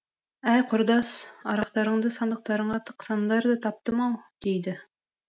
әй құрдас арақтарыңды сандықтарыңа тықсаңдар да таптым ау дейді